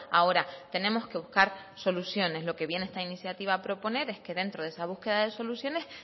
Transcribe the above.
ahora tenemos que buscar soluciones lo que viene esta iniciativa a proponer es que dentro de esa búsqueda de soluciones